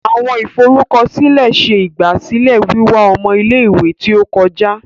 Awọn iforukọsilẹ ṣe igbasilẹ wiwa ọmọ ile-iwe ti o kọja.